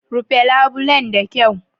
Rufe labulen da kyau